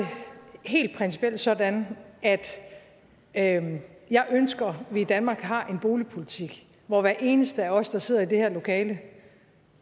helt principielt sådan at at jeg ønsker at vi i danmark har en boligpolitik hvor hver eneste af os der sidder i det her lokale